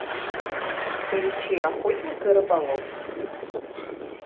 включи охотник и рыболов